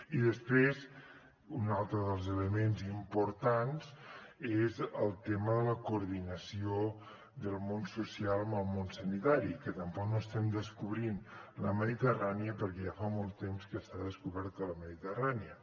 i després un altre dels elements importants és el tema de la coordinació del món social amb el món sanitari que tampoc no estem descobrint la mediterrània perquè ja fa molt temps que està descoberta la mediterrània